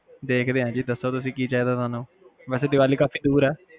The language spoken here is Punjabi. ਦੇਖਦੇ ਆ ਜੀ ਦੱਸੋ ਤੁਸੀਂ ਕੀ ਚਾਹੀਦਾ ਥੋਨੂੰ ਵੈਸੇ ਦੀਵਾਲੀ ਕਾਫੀ ਦੂਰ ਆ